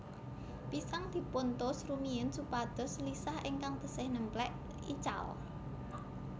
Pisang dipun tus rumiyin supados lisah ingkang taksih nèmplek ical